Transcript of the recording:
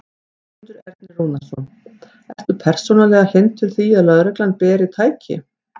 Sigmundur Ernir Rúnarsson: Ertu persónulega hlynntur því að lögreglan beri. tæki?